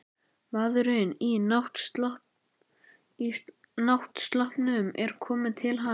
Maðurinn í náttsloppnum er kominn til hans.